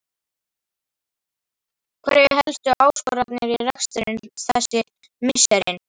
Hverjar eru helstu áskoranirnar í rekstrinum þessi misserin?